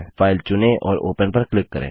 file चुनें और open पर क्लिक करें